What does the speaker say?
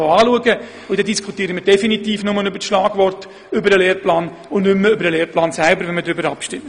So würden wir aber bei einer Abstimmung definitiv nur noch über Schlagworte zum Lehrplan diskutieren und nicht mehr über seinen Inhalt.